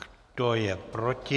Kdo je proti?